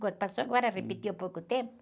Quando? Passou agora, repetiu há pouco tempo.